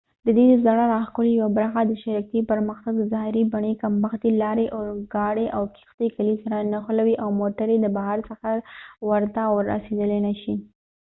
ددې د زړه راښکلو یوه برخه د شرکتي پرمختګ د ظاهري بڼې کمښت دي لارې اورګاړي او کیښتۍ کلي سره نښلوي او موټرې د بهر څخه ورته رسیدای نشي